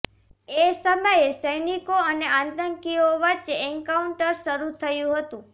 એ સમયે સૈનિકો અને આતંકીઓ વચ્ચે એન્કાઉન્ટર શરુ થયું હતું